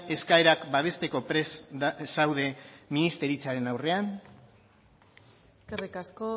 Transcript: eskaerak babesteko prest zaude ministeritzaren aurrean eskerrik asko